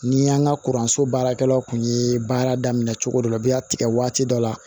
Ni y'an ka kuranso baarakɛlaw kun ye baara daminɛ cogo dɔ la bi a tigɛ waati dɔ la